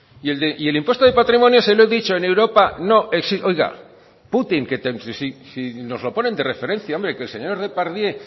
y el impuesto de patrimonio se lo he dicho en europa si nos lo ponen de referencia que el señor depardieu